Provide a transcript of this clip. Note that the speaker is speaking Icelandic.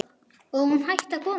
Og hún hætti að koma.